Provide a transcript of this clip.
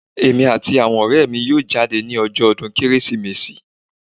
Èmi àti àwọn ọrẹ mi yóò jáde ni ọjọ́ ọdún Kérésìmesì.